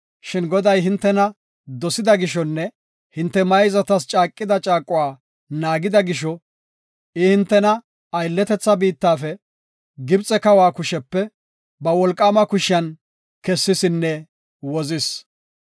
Shin Goday hintena dosida gishonne hinte mayzatas caaqida caaquwa naagida gisho, I hintena aylletetha biittafe, Gibxe kawa kushepe, ba wolqaama kushiyan kessisinne wozis.